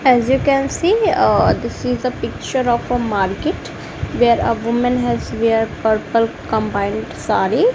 as you can see uh this is the picture of a market where a women has wear purple combined saree.